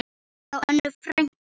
Hjá Önnu frænku.